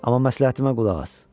Amma məsləhətimə qulaq as.